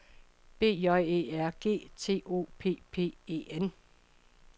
B J E R G T O P P E N